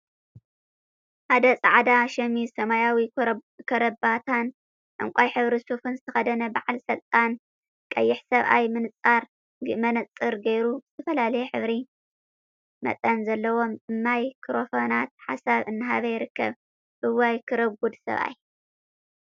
ሓደ ጻዕዳ ሽሚዝ፣ ሰማያዊ ከረባታን ዕንቃይ ሕብሪ ሱፍን ዝተከደነ በዓል ስልጣን ቀይሕ ሰብኣይ ምንጸር ገይሩ ብዝተፈላለዩ ሕብሪን መጠንን ዘለዎም ማይ ክሮፎናት ሓሳብ እናሃብ ይርከብ። እዋይ ክረጉድ ሰብኣይ!